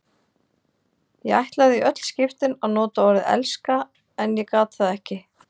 Ég ætlaði í öll skiptin að nota orðið elska en ég gat það ekki.